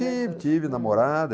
Tive, tive namorada.